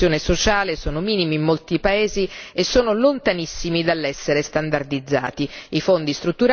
I livelli di protezione sociale sono minimi in molti paesi e sono lontanissimi dall'essere standardizzati.